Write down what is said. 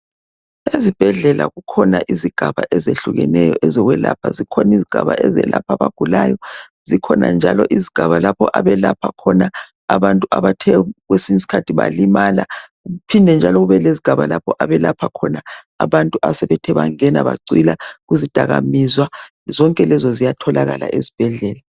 Ezibhedlela kukhona izigaba ezehlukeneyo ezokwelapha. Zikhona izigaba ezelapha abagulayo. Zikhona njalo izigaba lapho abelapha khona abantu abathe kwesinye isikhathi balimala kuphinde njalo kube lezigaba lapho abelapha khona abantu abathe bangena bacwila kuzidakamizwa. Zonke lezo ziyatholakala esibhedlela.